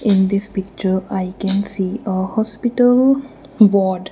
in this picture I can see ah hospital ward.